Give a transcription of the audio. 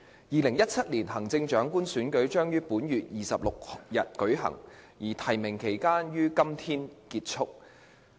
2017年行政長官選舉將於本月26日舉行，而提名期將於今天結束。